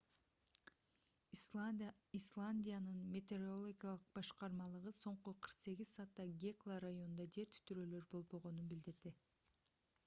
исландиянын метеорологиялык башкармалыгы соңку 48 саатта гекла районунда жер титирөөлөр болбогонун билдирди